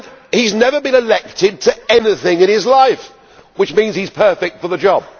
He has never been elected to anything in his life which means he is perfect for the job.